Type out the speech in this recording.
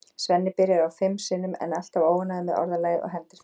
Svenni byrjar á því fimm sinnum en er alltaf óánægður með orðalagið og hendir því.